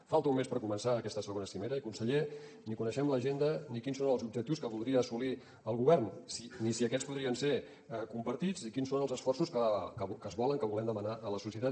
falta un mes per començar aquesta segona cimera i conseller ni en coneixem l’agenda ni quins són els objectius que voldria assolir el govern ni si aquests podrien ser compartits i quins són els esforços que es volen que volem demanar a la societat